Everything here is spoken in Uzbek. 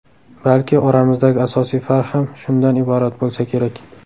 Balki oramizdagi asosiy farq ham shundan iborat bo‘lsa kerak.